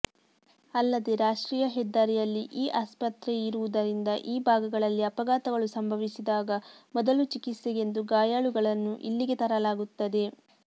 ಅಲ್ಲದೆ ರಾಷ್ಟ್ರೀಯ ಹೆದ್ದಾರಿಯಲ್ಲಿ ಈ ಆಸ್ಪತ್ರೆಯಿರುವುದರಿಂದ ಈ ಭಾಗಗಳಲ್ಲಿ ಅಪಘಾತಗಳು ಸಂಭವಿಸಿದಾಗ ಮೊದಲು ಚಿಕಿತ್ಸೆಗೆಂದು ಗಾಯಾಳುಗಳನ್ನು ಇಲ್ಲಿಗೆ ತರಲಾಗುತ್ತದೆ